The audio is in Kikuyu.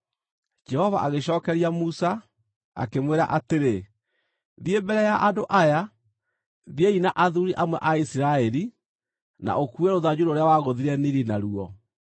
Jehova agĩcookeria Musa, akĩmwĩra atĩrĩ, “Thiĩ mbere ya andũ aya. Thiĩi na athuuri amwe a Isiraeli na ũkuue rũthanju rũrĩa wagũthire Nili naruo.